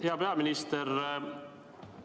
Hea peaminister!